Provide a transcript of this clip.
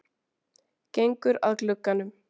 Gengur að glugganum.